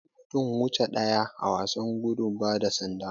Akwai mutum wuche daya a wasan gudu bada sanda.